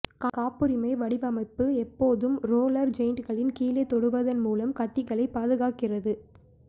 காப்புரிமை வடிவமைப்பு எப்போதும் ரோல்லர்ஜெட்களின் கீழே தொடுவதன் மூலம் கத்திகளை பாதுகாக்கிறது